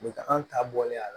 Nin bagan ta bɔlen a la